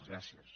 gràcies